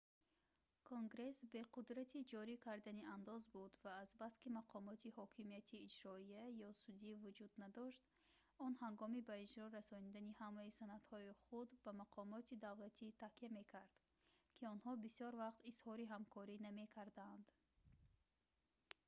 конгресс бе қудрати ҷорӣ кардани андоз буд ва азбаски мақомоти ҳокимияти иҷроия ё судӣ вуҷуд надошт он ҳангоми ба иҷро расонидани ҳамаи санадҳои худ ба мақомоти давлатӣ такя мекард ки онҳо бисёр вақт изҳори ҳамкорӣ намекарданд